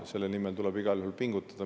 Selle nimel tuleb igal juhul pingutada.